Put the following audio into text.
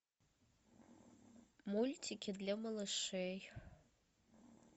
мультики для малышей